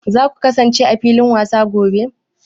Za ku kasance a filin wasa a gobe?